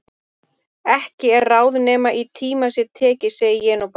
Ekki er ráð nema í tíma sé tekið segi ég nú bara.